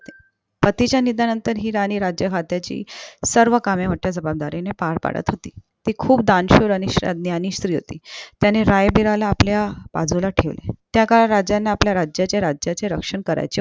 पती च्या निधनानंतर हि राणी राज्याची सर्व कामे मोठ्या जबाबदारीने पार पडत होती ती खूप दानशूर आणि सज्ञानी स्री होती त्याने रायबिराला आपल्या बाजूला ठेवले त्या काळात राजांना आपल्या राजा राज्याचे रक्षन करायचे